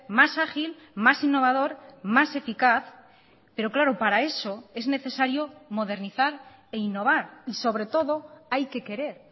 más ágil más innovador más eficaz pero claro para eso es necesario modernizar e innovar y sobre todo hay que querer